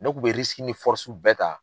Ne kun bɛ ni bɛɛ ta.